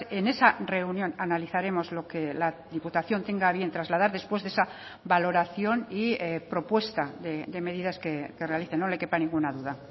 en esa reunión analizaremos lo que la diputación tenga a bien trasladar después de esa valoración y propuesta de medidas que realice no le quepa ninguna duda